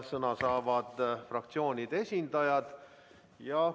Sõna saavad fraktsioonide esindajad.